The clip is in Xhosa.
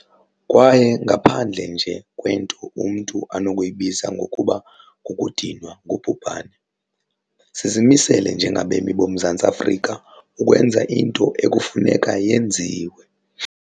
Kwaye ngaphandle nje kwento umntu anokuyibiza ngokuba 'kukudinwa ngubhubhane', sizimisele njengabemi boMzantsi Afrika ukwenza into ekufuneka yenziwe.